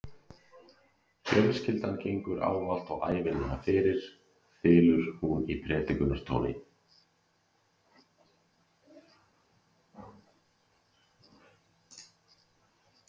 Fjölskyldan gengur ávallt og ævinlega fyrir, þylur hún í predikunartóni.